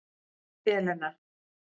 Elena